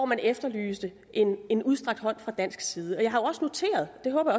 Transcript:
man efterlyste en en udstrakt hånd fra dansk side jeg har også noteret og det håber